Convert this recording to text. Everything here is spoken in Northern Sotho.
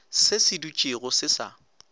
se se dutšego se sa